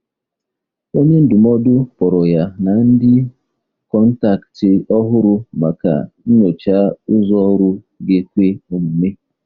Onye ndụmọdụ kpọrọ ya na ndị kọntaktị ọhụrụ maka nyocha ụzọ ọrụ ga-ekwe omume.